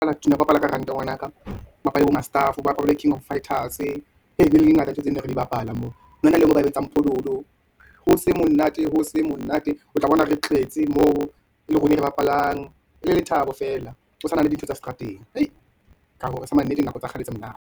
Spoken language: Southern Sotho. Ho bapala ka ngwanaka, ho bapalwe bo mastafo, ho bapalwe king of fighters, ebile di ngata tseo tse ne re bapala moo, hona le engwe e ba ibitsang phololo, ho se monate o tla bona re tletse moo, e le rona re bapalang, ele lethabo feela, o sa nahane dintho tsa seterateng, nako tsa kgale tse monate.